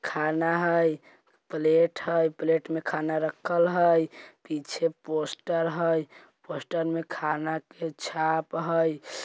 खाना है प्लेट है प्लेट में खाना रखल है| पीछे पोस्टर है पोस्टर में खाना के छाप है।